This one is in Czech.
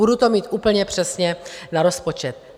Budu to mít úplně přesně na rozpočet.